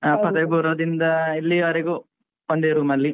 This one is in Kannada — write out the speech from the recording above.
ನಾನ್ ಇಂದ ಇಲ್ಲಿವರ್ಗು ಒಂದೇ room ಅಲ್ಲಿ